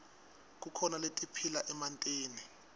kukhona letiphila emantini